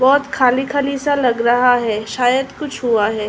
बहोत बहोत खाली खाली सा लग रहा है। शायद कुछ हुआ है।